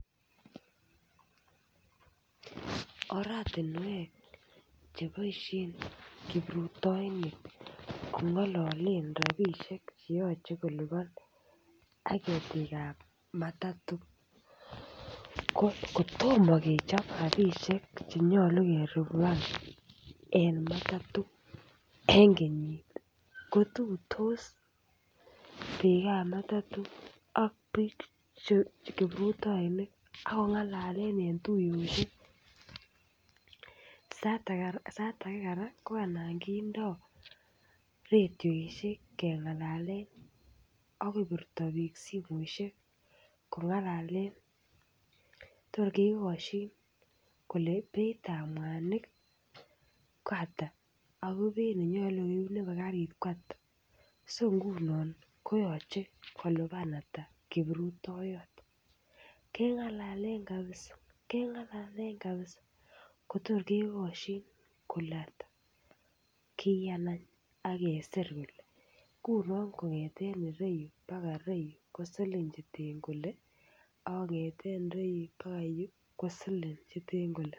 Oratinwek che boisien kiprutoinik kong'alalee rapishek che yachen kolipan ak ketiik ap matatu ko kotomo kechop rapishek che nyolu kelipan en matatu en kenyiit kotuitos pikaap matatu ak piik che kiprutoinik. Akongalale eng tuiyoshek. Sait ake koraa ko anan kindoi redioshek keng'alale akopirta piik simoishek kong'alale atya kekoschin kole beit ap mwanik ko ata ako beit nye nyolu koip nebo karit ko ata. So nguno koyache kolipan ata kiprutoiyot. Keng'alalen kabisa, keng'alalen kabisa kotor kekaschin kele ata. Kiyaan any akesir kele ngunoo kong'etee rein mpaka rein ko siling cheten kole ak kong'ete rein mpaka yu ko silling cheten kole.